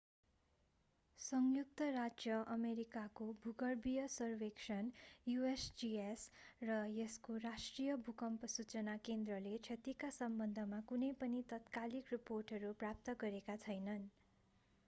संयुक्त राज्य अमेरिकाको भूगर्भीय सर्वेक्षण usgs र यसको राष्ट्रिय भूकम्प सूचना केन्द्रले क्षतिका सम्बन्धमा कुनै पनि तात्कालिक रिपोर्टहरू प्राप्त गरेका छैनन्।